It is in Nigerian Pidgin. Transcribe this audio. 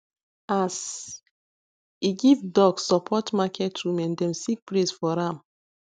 as e give duck support market women dem sing praise for am